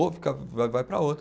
Vai vai para outro.